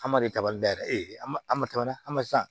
An ma deli kaba bɛɛ e a ma tɛmɛna a ma san